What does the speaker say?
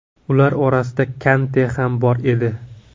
Ular orasida Kante ham bor edi.